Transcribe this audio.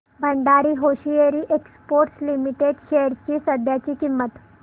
Bhandari hosiery exports limited shares ची सध्याची किंमत